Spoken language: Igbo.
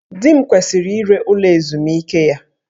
Di m kwesịrị ire ụlọ ezumike ya